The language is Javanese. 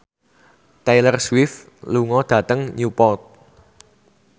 Taylor Swift lunga dhateng Newport